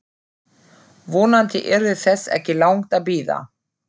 Vonandi yrði þess ekki langt að bíða.